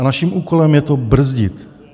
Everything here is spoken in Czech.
A naším úkolem je to brzdit.